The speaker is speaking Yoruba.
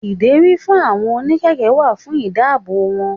Ìdérí fún àwọn oní kẹ̀kẹ́ wà fún ìdáàbò wọn.